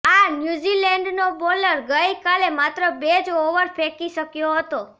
આ ન્યૂઝીલેન્ડનો બોલર ગઈ કાલે માત્ર બે જ ઓવર ફેંકી શક્યો હતો